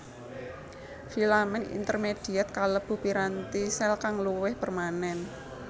Filamen intermediet kalebu piranti sel kang luwih permanen